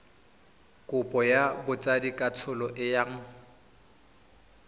kopo ya botsadikatsholo e yang